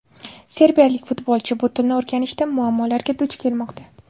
Serbiyalik futbolchi bu tilni o‘rganishda muammolarga duch kelmoqda.